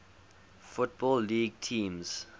football league teams